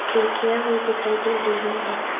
खिड़कियां भी दिखाई दे रही हैं